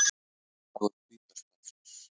Dagur hvíta stafsins